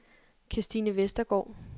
Kirstine Vestergaard